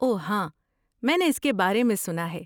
اوہ، ہاں، میں نے اس کے بارے میں سنا ہے۔